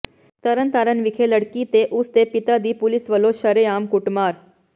ਤਰਨਤਾਰਨ ਵਿਖੇ ਲੜਕੀ ਤੇ ਉਸ ਦੇ ਪਿਤਾ ਦੀ ਪੁਲਿਸ ਵਲੋਂ ਸ਼ਰੇਆਮ ਕੁੱਟਮਾਰ